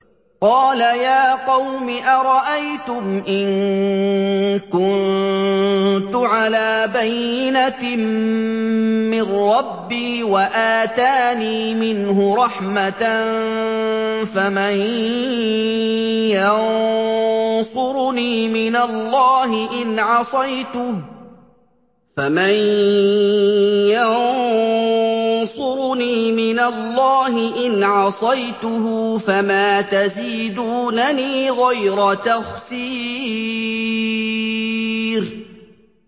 قَالَ يَا قَوْمِ أَرَأَيْتُمْ إِن كُنتُ عَلَىٰ بَيِّنَةٍ مِّن رَّبِّي وَآتَانِي مِنْهُ رَحْمَةً فَمَن يَنصُرُنِي مِنَ اللَّهِ إِنْ عَصَيْتُهُ ۖ فَمَا تَزِيدُونَنِي غَيْرَ تَخْسِيرٍ